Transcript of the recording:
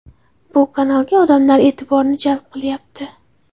Bu kanalga odamlar e’tiborini jalb qilyapti.